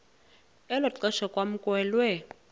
elo xesha kwamkelwe